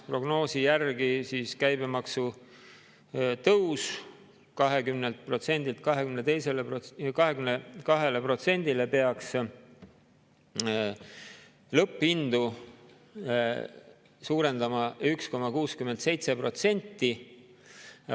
Prognoosi järgi käibemaksu tõus 20%-lt 22%-le peaks lõpphindu suurendama 1,67%.